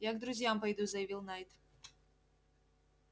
я к друзьям пойду заявил найд